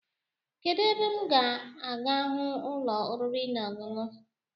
Kedu ebe m ga ahụ ụlọ oriri na-ọṅụṅụ